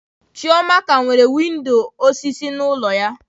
Chioma ka nwere windọ osisi n'ụlọ ya.